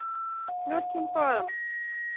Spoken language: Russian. с легким паром